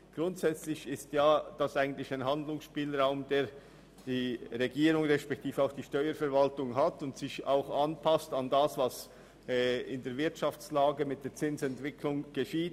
Grundsätzlich hat die Regierung respektive die Steuerverwaltung einen Handlungsspielraum, der sich auch an das anpasst, was aufgrund der Wirtschaftslage mit der Zinsentwicklung geschieht.